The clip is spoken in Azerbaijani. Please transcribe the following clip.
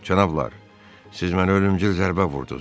Cənablar, siz mənə ölümcül zərbə vurdunuz.